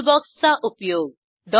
टूलबॉक्सचा उपयोग